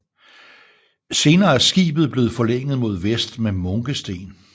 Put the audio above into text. Senere er skibet blevet forlænget mod vest med munkesten